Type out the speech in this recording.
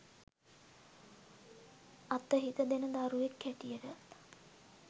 අතහිත දෙන දරුවෙක් හැටියටත්